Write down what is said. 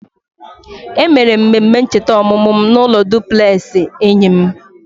E mere m mmemme ncheta ọmụmụ m n'ụlọ dupleksị enyi m